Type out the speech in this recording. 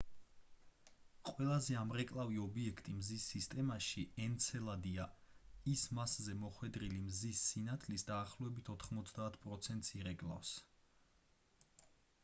ყველაზე ამრეკლავი ობიექტი მზის სისტემაში ენცელადია ის მასზე მოხვედრილი მზის სინათლის დაახლოებით 90 პროცენტს ირეკლავს